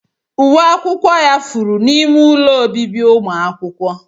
Uwe akwụkwọ ya furu n'ime ụlọ obibi ụmụ akwụkwọ.